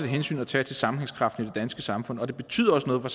hensyn at tage til sammenhængskraften i danske samfund og det betyder også noget for